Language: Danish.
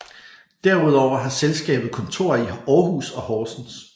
Derudover har selskabet kontorer i Aarhus og Horsens